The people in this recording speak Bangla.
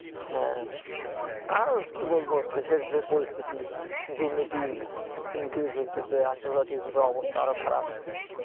হ্যাঁ, আর কি বলবো দেশে যে পরিস্থিতি দুর্নীতি increase হইতেছে আন্তর্জাতিক অবস্থা আরো খারাপ